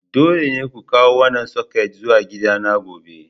Dole ne ku kawo wannan soket zuwa gidana gobe!